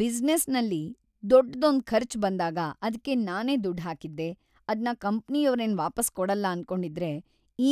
ಬಿಸ್ನೆಸ್ಸಲ್ಲಿ ದೊಡ್ದೊಂದ್ ಖರ್ಚ್‌‌ ಬಂದಾಗ ಅದ್ಕೆ ನಾನೇ ದುಡ್ ಹಾಕಿದ್ದೆ, ಅದ್ನ ಕಂಪ್ನಿಯೋರೇನು ವಾಪಸ್‌ ಕೊಡಲ್ಲ ಅನ್ಕೊಂಡಿದ್ರೆ